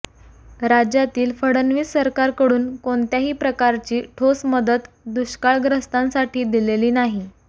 राज्यातील फडणवीस सरकारकडून कोणत्याही प्रकारची ठोस मदत दुष्काळग्रस्तांसाठी दिलेली नाही